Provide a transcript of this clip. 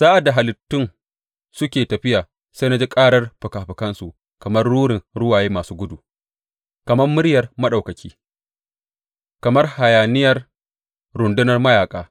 Sa’ad da halittun suke tafiya, sai na ji ƙarar fikafikansu, kamar rurin ruwaye masu gudu, kamar muryar Maɗaukaki, kamar hayaniyar rundunar mayaƙa.